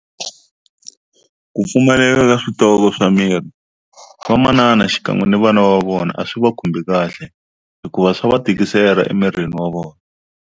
Ku pfumaleka ka switoko swa mirhi vamanana xikan'we na vana va vona a swi va khumbi kahle hikuva swa va tikisela emirini wa vona.